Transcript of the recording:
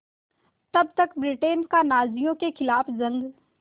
तब तक ब्रिटेन का नाज़ियों के ख़िलाफ़ जंग